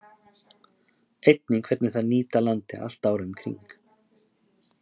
Einnig hvernig þær nýta landið allt árið um kring.